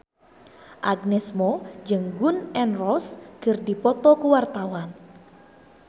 Agnes Mo jeung Gun N Roses keur dipoto ku wartawan